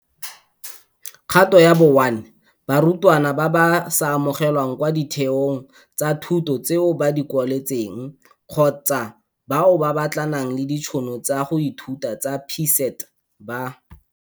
Kgato ya bo 1 - Barutwana ba ba sa amogelwang kwa ditheong tsa thuto tseo ba di kwaletseng, kgotsa bao ba batlanang le ditšhono tsa go ithuta tsa PSET, ba.